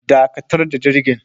Dakatar da jirgin